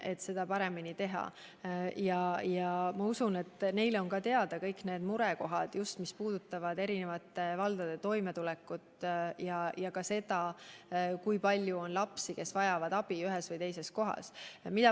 Ma usun, et ministeeriumilegi on teada kõik need murekohad, mis puudutavad eri valdade toimetulekut ja ka seda, kui palju on ühes või teises kohas lapsi, kes vajavad abi.